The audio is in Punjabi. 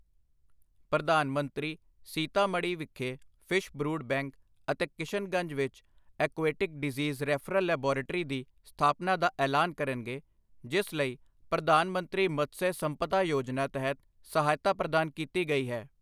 ਪ੍ਰਧਾਨ ਮੰਤਰੀ ਸੀਤਾ-ਮੜ੍ਹੀ ਵਿਖੇ ਫ਼ਿਸ਼ ਬਰੂਡ ਬੈਂਕ ਅਤੇ ਕਿਸ਼ਨ-ਗੰਜ ਵਿਚ ਐਕੁਐਟਿਕ ਡਿਜ਼ੀਸ ਰੈਫ਼ਰਲ ਲੈਬੋਰੇਟਰੀ ਦੀ ਸਥਾਪਨਾ ਦਾ ਐਲਾਨ ਕਰਨਗੇ, ਜਿਸ ਲਈ ਪ੍ਰਧਾਨ ਮੰਤਰੀ ਮਤਸਯ ਸੰਪਦਾ ਯੋਜਨਾ ਤਹਿਤ ਸਹਾਇਤਾ ਪ੍ਰਦਾਨ ਕੀਤੀ ਗਈ ਹੈ।